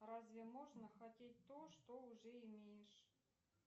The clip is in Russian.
разве можно хотеть то что уже имеешь